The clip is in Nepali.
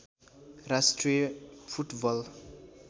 राष्ट्रिय फुटबल